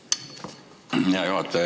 Hea juhataja!